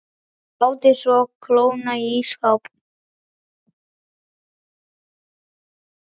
Látið svo kólna í ísskáp.